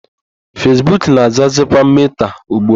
Fesbuk na-azazikwa Meta ugbu a.